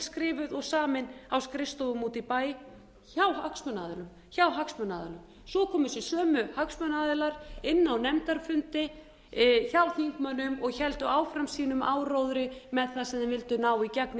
skrifuð og samin á skrifstofan úti í bæ hjá hagsmunaaðilum hjá hagsmunaaðilum svo komu þessi sömu hagsmunaaðilar inn á nefndarfundi hjá þingmönnum héldu áfram sínum áróðri með það sem þeir vildu ná í gegn í